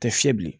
Tɛ fiyɛ bilen